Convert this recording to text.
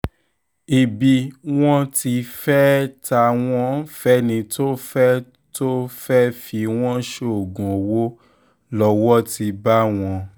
ibi wọn ti fẹ́ẹ́ ta wọ́n fẹ́ni tó fẹ́ẹ́ tó fẹ́ẹ́ fi wọ́n ṣoògùn owó lọ́wọ́ ti bá wọn